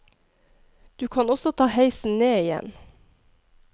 Du kan også ta heisen ned igjen.